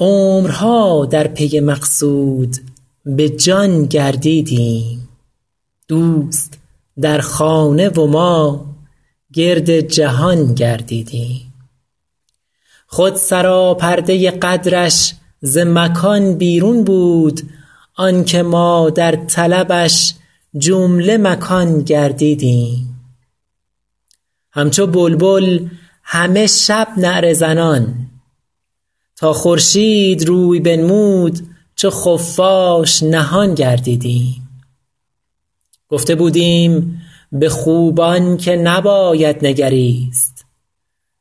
عمرها در پی مقصود به جان گردیدیم دوست در خانه و ما گرد جهان گردیدیم خود سراپرده قدرش ز مکان بیرون بود آن که ما در طلبش جمله مکان گردیدیم همچو بلبل همه شب نعره زنان تا خورشید روی بنمود چو خفاش نهان گردیدیم گفته بودیم به خوبان که نباید نگریست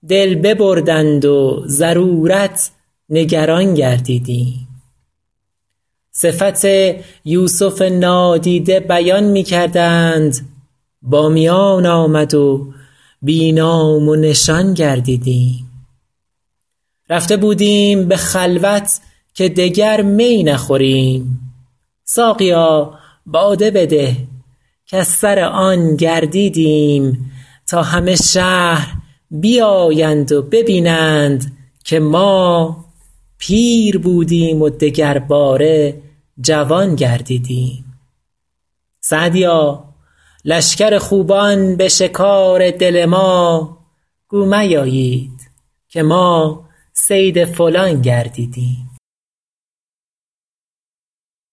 دل ببردند و ضرورت نگران گردیدیم صفت یوسف نادیده بیان می کردند با میان آمد و بی نام و نشان گردیدیم رفته بودیم به خلوت که دگر می نخوریم ساقیا باده بده کز سر آن گردیدیم تا همه شهر بیایند و ببینند که ما پیر بودیم و دگرباره جوان گردیدیم سعدیا لشکر خوبان به شکار دل ما گو میایید که ما صید فلان گردیدیم